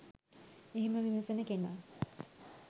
එහෙම විමසන කෙනා